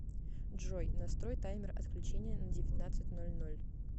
джой настрой таймер отключения на девятнадцать ноль ноль